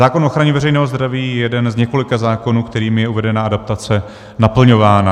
Zákon o ochraně veřejného zdraví je jeden z několika zákonů, kterým je uvedená adaptace naplňována.